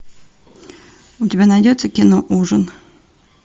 у тебя найдется кино ужин